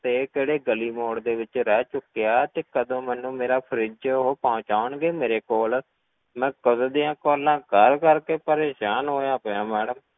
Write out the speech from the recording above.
~ਸਤੇ ਕਿਹੜੇ ਗਲੀ ਮੋੜ ਦੇ ਵਿੱਚ ਰਹਿ ਚੁੱਕਿਆ ਤੇ ਕਦੋਂ ਮੈਨੂੰ ਮੇਰਾ fridge ਉਹ ਪਹੁੰਚਾਉਣਗੇ ਮੇਰੇ ਕੋਲ, ਮੈਂ ਕਦੋਂ ਦੀਆਂ calls ਕਰ ਕਰ ਕੇ ਪਰੇਸਾਨ ਹੋਇਆ ਪਿਆਂ madam